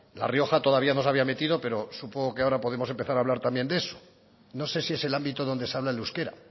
la rioja todavía no se había metido pero supongo que ahora podemos empezar a hablar también de eso no sé si es el ámbito donde se habla el euskera